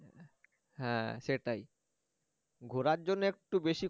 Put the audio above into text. এর হ্যা সেটাই ঘোরার জন্যে একটু বেশি